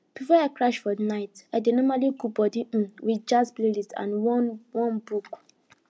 before i crash for night i dey normally cool body um with jazz playlist and one one book